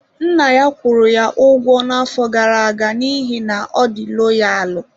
Nna ya kwụrụ ya ụgwọ n'afọ gara aga n'ihi na ọ dị loyalụ.